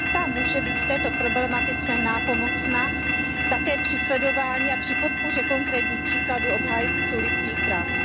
Ta může být v této problematice nápomocna také při sledování a při podpoře konkrétních příkladů obhájců lidských práv.